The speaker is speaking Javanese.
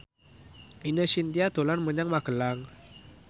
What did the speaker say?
Ine Shintya dolan menyang Magelang